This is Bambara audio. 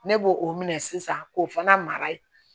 Ne b'o o minɛ sisan k'o fana mara ye